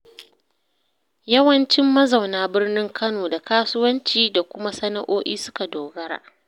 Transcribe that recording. Yawancin mazauna birnin Kano da kasuwanci da kuma sana'o'i suka dogara.